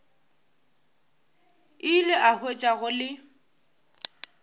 ile a hwetša go le